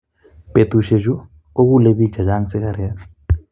Betusiechu kokule biik chechang sikaret